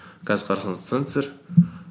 қазір қарасаңыз сенсор